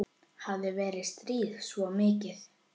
Hafði verið strítt svona mikið.